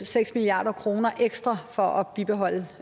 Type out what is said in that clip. seks milliard kroner ekstra for at bibeholde